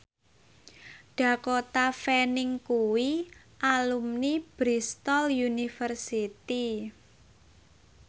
Dakota Fanning kuwi alumni Bristol university